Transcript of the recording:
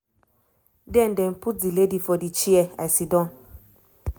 "den dem put di lady for di chair i siddon."